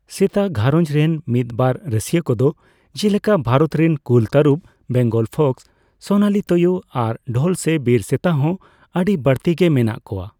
ᱥᱮᱛᱟ ᱜᱷᱟᱨᱚᱡᱽ ᱨᱮᱱ ᱢᱤᱫ ᱵᱟᱨ ᱨᱟᱹᱥᱤᱭᱟᱹ ᱠᱚᱫᱚ ᱡᱮᱞᱮᱠᱟ ᱵᱷᱟᱨᱚᱛ ᱨᱮᱱ ᱠᱩᱞ ᱛᱟᱹᱨᱩᱯ, ᱵᱮᱝᱜᱚᱞ ᱯᱷᱚᱠᱥ, ᱥᱳᱱᱟᱞᱤ ᱛᱳᱭᱳ, ᱟᱨ ᱰᱷᱳᱞ ᱥᱮ ᱵᱤᱨ ᱥᱮᱛᱟᱦᱚᱸ ᱟᱹᱰᱤ ᱵᱟᱹᱲᱛᱤ ᱜᱮ ᱢᱮᱱᱟᱜ ᱠᱚᱣᱟ ᱾